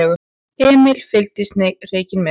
Emil fylgdist hreykinn með.